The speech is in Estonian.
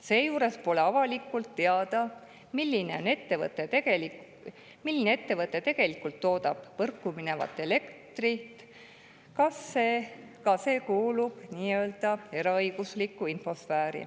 Seejuures pole avalikult teada, milline ettevõte võrku minevat elektrit tegelikult toodab – ka see kuuluvat nii-öelda eraõigusliku info sfääri.